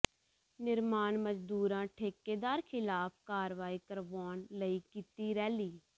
ਨਿਰਮਾਣ ਮਜ਼ਦੂਰਾਂ ਠੇਕੇਦਾਰ ਿਖ਼ਲਾਫ਼ ਕਾਰਵਾਈ ਕਰਵਾਉਣ ਲਈ ਕੀਤੀ ਰੈਲੀ